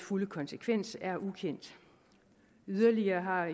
fulde konsekvens er altså ukendt yderligere har